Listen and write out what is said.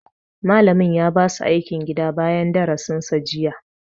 Malamin ya ba su aikin gida bayan darasin sa jiya